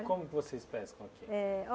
como que vocês pescam aqui? Eh